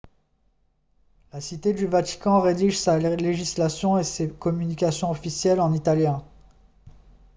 la cité du vatican rédige sa législation et ses communications officielles en italien